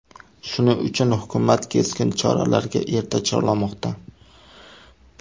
Shuning uchun hukumat keskin choralarga erta chorlamoqda.